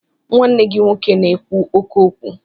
Nwanne gị nwoke na-ekwu oké okwu.